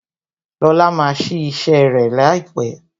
Lóla máa sí ise rẹ laipe